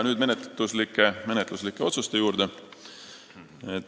Nüüd aga menetluslike otsuste juurde.